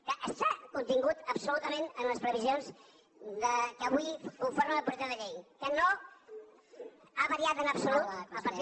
que està contingut absolutament en les previsions que avui conformen el projecte de llei que no ha variat en absolut a partir